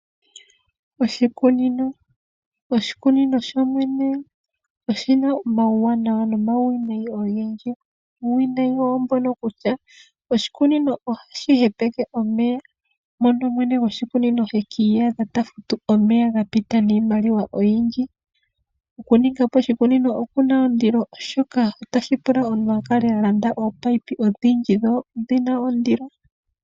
Oshikunino Oshikunino shomwene oshina omauwanawa nomauwinawi ogendji. Uuwinayi owo mbono kutya oshikunino ohashi hepeke omeya mpono mwene goshikunino te kiiyadha ta futu omeya ga pita niimaliwa oyindji. Oku ninga po oshikunino okuna ondilo oshoka otashi pula omuntu a kale a landa oopayipi odhindji, dho odhina ondilo.